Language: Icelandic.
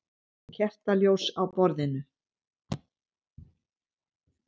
Kertaljós á borðinu.